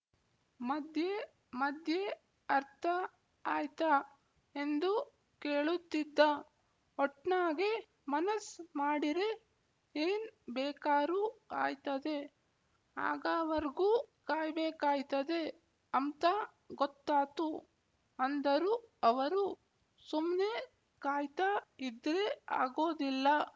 ಮಧ್ಯೆ ಮಧ್ಯೆ ಅರ್ಥ ಆಯ್ತ ಎಂದು ಕೇಳುತ್ತಿದ್ದ ಒಟ್ನಾಗೆ ಮನಸ್ ಮಾಡಿರೆ ಏನ್ ಬೇಕಾರೂ ಆಯ್ತದೆ ಆಗಾವರ್ಗೂ ಕಾಯ್‍ಬೇಕಾಯ್ತದೆ ಅಂಬ್ತ ಗೊತ್ತಾತು ಅಂದರು ಅವರು ಸುಮ್ನೆ ಕಾಯ್ತಾ ಇದ್ರೆ ಆಗೋದಿಲ್ಲ